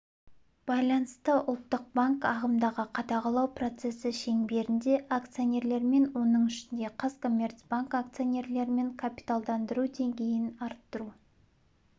байланысты ұлттық банк ағымдағы қадағалау процесі шеңберінде акционерлермен оның ішінде қазкоммерцбанк акционерлерімен капиталдандыру деңгейін арттыру